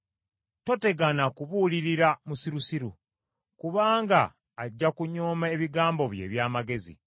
Totegana kubuulirira musirusiru, kubanga ajja kunyooma ebigambo byo eby’amagezi.